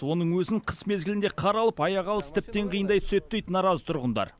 оның өзін қыс мезгілінде қар алып аяқ алыс тіптен қиындай түседі дейді наразы тұрғындар